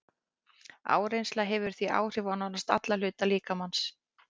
Áreynsla hefur því áhrif á nánast alla hluta líkamans.